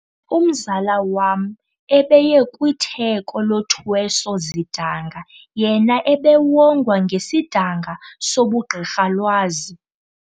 Umzala wam ebeye kwitheko lothweso-zidanga yena ebewongwa ngesidanga sobugqirhalwazi.